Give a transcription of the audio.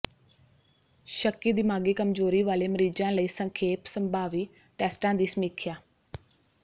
ਸ਼ੱਕੀ ਦਿਮਾਗੀ ਕਮਜ਼ੋਰੀ ਵਾਲੇ ਮਰੀਜ਼ਾਂ ਲਈ ਸੰਖੇਪ ਸੰਭਾਵੀ ਟੈਸਟਾਂ ਦੀ ਸਮੀਖਿਆ